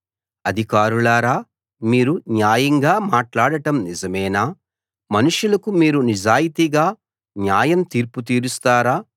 అధికారులారా మీరు న్యాయంగా మాట్లాడటం నిజమేనా మనుషులకు మీరు నిజాయితీగా న్యాయ తీర్పు తీరుస్తారా